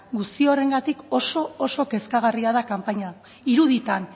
guzti horregatik oso kezkagarria da kanpaina iruditan